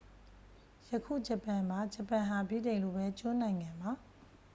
ယခု ဂျပန်ပါ ဂျပန်ဟာ ဗြိတိန်လိုပဲ ကျွန်းနိုင်ငံပါ